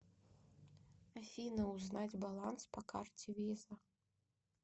афина узнать баланс по карте виза